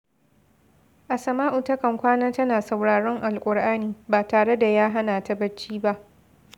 Asama’u takan ƙwana tana sauraron Al'Kur’ani, ba tare da yah hana ta bacci ba